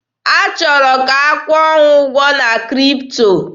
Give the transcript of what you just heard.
Ha chọrọ ka a kwụọ ha ụgwọ na Kripto.